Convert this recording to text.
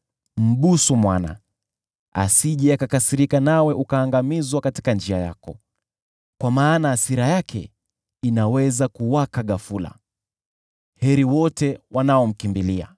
Mbusu Mwana, asije akakasirika nawe ukaangamizwa katika njia yako, kwa maana hasira yake inaweza kuwaka ghafula. Heri wote wanaomkimbilia.